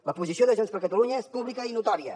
la posició de junts per catalunya és pública i notòria